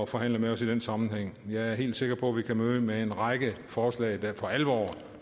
forhandle med os i den sammenhæng jeg er helt sikker på at vi kan møde med en række forslag der for alvor